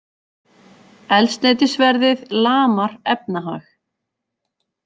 Eldsneytisverðið lamar efnahag